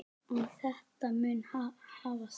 En þetta mun hafast.